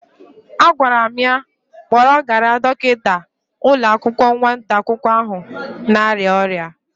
Agwara m ya kpọrọgara Dọkịta ụlọakwụkwọ nwata akwụkwọ ahụ na-arịa ọrịa.